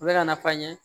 U bɛ ka na fɔ an ɲe